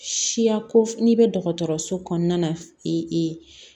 Siya ko f'i bɛ dɔgɔtɔrɔso kɔnɔna na i